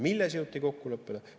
Milles jõuti kokkuleppele?